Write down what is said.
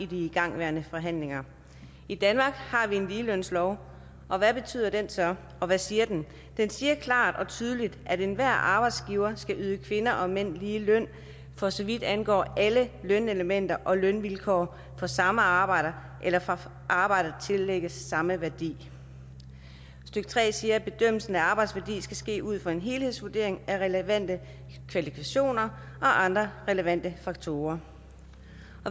de igangværende forhandlinger i danmark har vi en ligelønslov og hvad betyder den så og hvad siger den den siger klart og tydeligt at enhver arbejdsgiver skal yde kvinder og mænd lige løn for så vidt angår alle lønelementer og lønvilkår for samme arbejde eller for arbejde der tillægges samme værdi stykke tre siger at bedømmelsen af arbejdsværdi skal ske ud fra en helhedsvurdering af relevante kvalifikationer og andre relevante faktorer